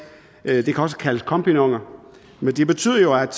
og det kan også kaldes kompagnoner men det betyder jo at